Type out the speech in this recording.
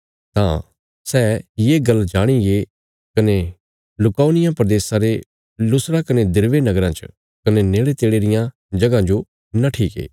तां सै ये गल्ल जाणीगे कने लुकाउनिया प्रदेशा रे लुस्त्रा कने दिरबे नगराँ च कने नेड़ेतेड़े रियां जगहां जो नट्ठीगे